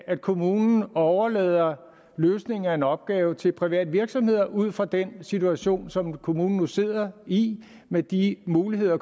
når kommunen overlader løsningen af en opgave til private virksomheder ud fra den situation som kommunen nu sidder i med de muligheder